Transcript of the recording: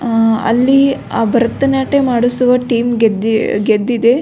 ಆ ಅಲ್ಲಿ ಭರತನಾಟ್ಯ ಮಾಡಿಸುವ ಟೀಮ್ ಗೆದ್ದಿದೆ.